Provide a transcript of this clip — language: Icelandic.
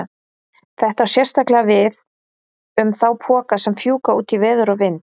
Þetta á sérstaklega við um þá poka sem fjúka út í veður og vind.